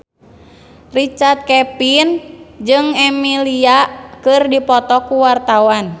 Richard Kevin jeung Emilia Clarke keur dipoto ku wartawan